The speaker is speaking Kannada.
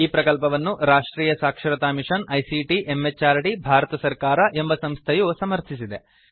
ಈ ಪ್ರಕಲ್ಪವನ್ನು ರಾಷ್ಟ್ರಿಯ ಸಾಕ್ಷರತಾ ಮಿಷನ್ ಐಸಿಟಿ ಎಂಎಚಆರ್ಡಿ ಭಾರತ ಸರ್ಕಾರ ಎಂಬ ಸಂಸ್ಥೆಯು ಸಮರ್ಥಿಸಿದೆ